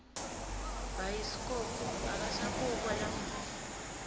bhayiskobho akasabukwa lamuhla